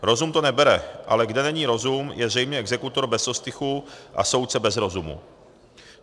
Rozum to nebere, ale kde není rozum, je zřejmě exekutor bez ostychu a soudce bez rozumu.